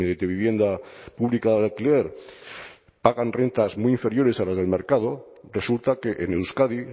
de vivienda pública de alquiler pagan rentas muy inferiores a las del mercado resulta que en euskadi